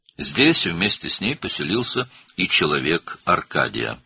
Burada onunla birlikdə Arkadiyin adamı da məskunlaşdı.